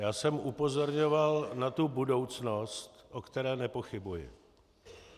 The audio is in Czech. Já jsem upozorňoval na tu budoucnost, o které nepochybuji.